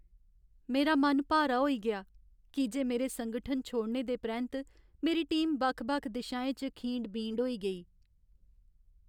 मेरा मन भारा होई गेआ की जे मेरे संगठन छोड़ने दे परैंत्त मेरी टीम बक्ख बक्ख दिशाएं च खींड बींड होई गेई।